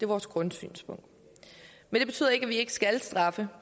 vores grundsynspunkt men det betyder ikke at vi ikke skal straffe